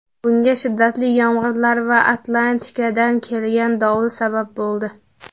Bunga shiddatli yomg‘irlar va Atlantikadan kelgan dovul sabab bo‘ldi.